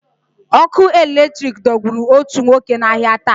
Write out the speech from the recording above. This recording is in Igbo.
Ọkụ eletrik dọgburu òtù nwoke n'ahịa taa.